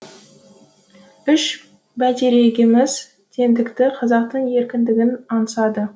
үш бәйтерегіміз теңдікті қазақтың еркіндігін аңсады